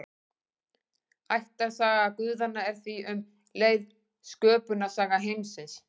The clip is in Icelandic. Ættarsaga guðanna er því um leið sköpunarsaga heimsins.